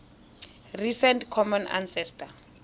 recent common ancestor